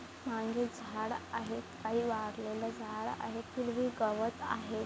मागे झाड आहे काही वाळलेलं झाड आहे हिरवी गवत आहेत.